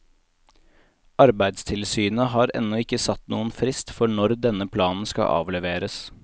Arbeidstilsynet har ennå ikke satt noen frist for når denne planen skal avleveres.